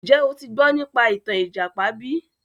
Njẹ́ o ti gbọ́ nípa ìtàn ìjàpá bí?